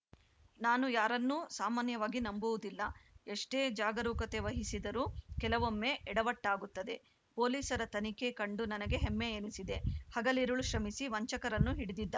ನಾನು ಯಾರನ್ನೂ ಸಾಮಾನ್ಯವಾಗಿ ನಂಬುವುದಿಲ್ಲ ಎಷ್ಟೇ ಜಾಗರೂಕತೆ ವಹಿಸಿದರೂ ಕೆಲವೊಮ್ಮೆ ಎಡವಟ್ಟಾಗುತ್ತದೆ ಪೊಲೀಸರ ತನಿಖೆ ಕಂಡು ನನಗೆ ಹೆಮ್ಮೆ ಎನಿಸಿದೆ ಹಗಲಿರುಳು ಶ್ರಮಿಸಿ ವಂಚಕರನ್ನು ಹಿಡಿದಿದ್ದಾ